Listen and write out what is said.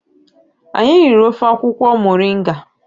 Anyị riri ofe akwukwo moringa